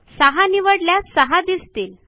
सहा निवडल्यास सहा दिसतील